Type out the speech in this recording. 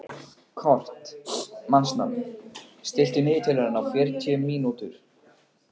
Kort (mannsnafn), stilltu niðurteljara á fjörutíu mínútur.